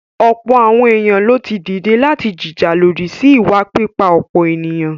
Ọ̀pọ̀ àwọn èèyàn lo ti dìde láti jìjà lòdì sí ìwà pípa-ọ̀pọ̀-ènìyàn.